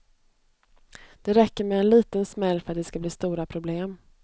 Det räcker med en liten smäll för att det ska bli stora problem.